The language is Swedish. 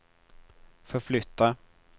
förflytta